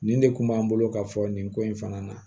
Nin de kun b'an bolo ka fɔ nin ko in fana na